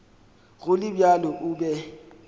go le bjalo o be